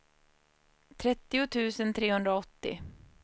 trettio tusen trehundraåttio